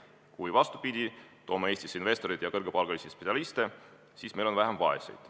Kui me, vastupidi, meelitame Eestisse investoreid ja kõrgepalgalisi spetsialiste, siis meil on vähem vaeseid.